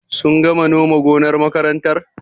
Sun gama noma gonar makarantar?